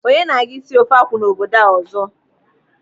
Onye na-aga isi ofe akwụ n'obodo a ọzọ?